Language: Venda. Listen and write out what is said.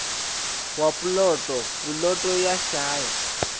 wa puloto puloto ya shaya